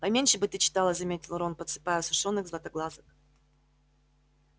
поменьше бы ты читала заметил рон подсыпая сушёных златоглазок